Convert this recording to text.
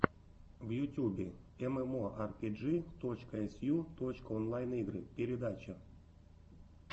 в ютюбе эмэмоарпиджи точка эсю точка онлайн игры передача